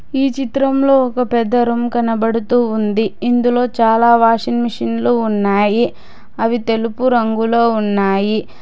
ఈ చిత్రంలో ఒక పెద్ద రూమ్ కనబడుతూ ఉంది ఇందులో చాలా వాషింగ్ మెషిన్లు ఉన్నాయి అవి తెలుపు రంగులో ఉన్నాయి.